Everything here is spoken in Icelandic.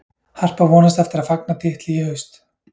Harpa vonast eftir að fagna titli í haust.